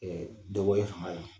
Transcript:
dɔ bɔlen fanga la